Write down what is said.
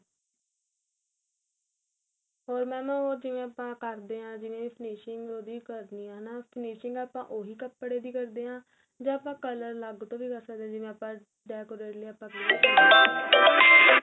ਹੋਰ mam ਉਹ ਜਿਵੇਂ ਆਪਾਂ ਕਰਦੇ ਆ ਜਿਵੇਂ finishing ਉਹਦੀ ਕਰਨੀਂ ਏ ਹਨਾ finishing ਆਪਾਂ ਉਹੀ ਕਪੜੇ ਦੀ ਕਰਦੇ ਆ ਜਾ ਆਪਾਂ color ਲਭ ਕੇ ਕ਼ਰ ਸਕਦੇ ਆ ਜਿਵੇਂ ਆਪਾਂ decorate ਲਈ ਆਪਾਂ ਕਹਿਏ